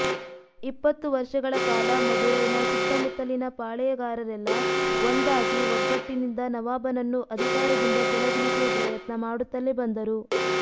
ಇಪ್ಪತ್ತು ವರ್ಷಗಳ ಕಾಲ ಮದುರೈನ ಸುತ್ತಮುತ್ತಲಿನ ಪಾಳೇಯಗಾರರೆಲ್ಲಾ ಒಂದಾಗಿ ಒಗ್ಗಟ್ಟಿನಿಂದ ನವಾಬನನ್ನು ಅಧಿಕಾರದಿಂದ ಕೆಳಗಿಳಿಸುವ ಪ್ರಯತ್ನ ಮಾಡುತ್ತಲೇ ಬಂದರು